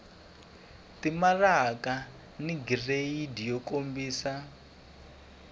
timaraka ni giridi yo kombisa